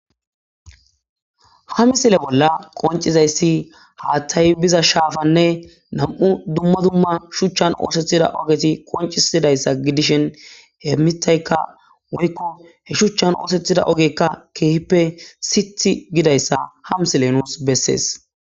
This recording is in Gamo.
Ha misile bolla qonc, izayisi hathayi biza shafanne duma duma shuchan osetida ogeti qonccisizayisa gidishin he mithayika woyiko he shuchan osetida ogeka kehippe sithi gidayisa ha misile nusi besees